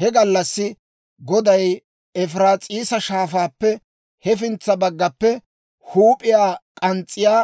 He gallassi Goday Efiraas'iisa Shaafaappe hefintsa baggaappe huup'iyaa k'ans's'iyaa